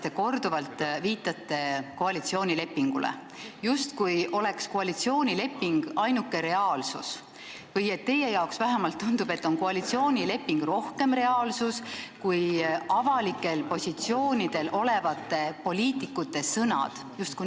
Te olete korduvalt viidanud koalitsioonilepingule, justkui oleks koalitsioonileping ainuke reaalsus või teile vähemalt tunduks, et koalitsioonileping on rohkem reaalsus kui avalikel positsioonidel olevate poliitikute sõnad.